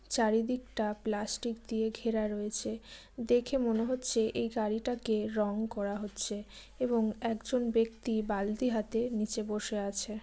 চারিদিকটা প্লাস্টিক দিয়ে ঘেরা রয়েছে। দেখে মনে হচ্ছে এই গাড়িটাকে রং করা হচ্ছে। এবং একজন ব্যক্তি বালতি হাতে নিচে বসে আছে।